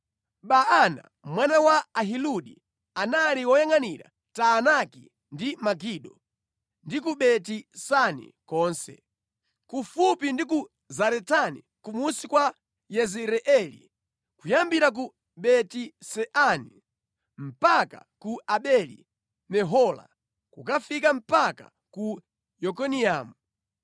Baana mwana wa Ahiludi, anali woyangʼanira Taanaki ndi Megido, ndi ku Beti Sani konse, kufupi ndi ku Zaretani kumunsi kwa Yezireeli, kuyambira ku Beti-Seani mpaka ku Abeli-Mehola kukafika mpaka ku Yokineamu;